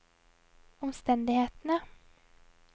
omstendighetene